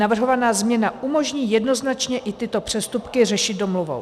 Navrhovaná změna umožní jednoznačně i tyto přestupky řešit domluvou.